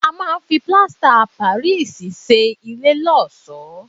A máa ń fi Plaster of Paris ṣe ilé lọ́ọ̀ṣọ́.